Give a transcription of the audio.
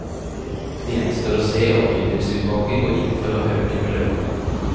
Det gjenstår å se om bydelsutvalget går inn for å øke beløpet.